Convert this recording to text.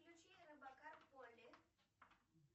включи робокар поли